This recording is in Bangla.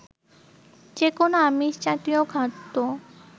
যেকোন আমিষ জাতীয় খাদ্য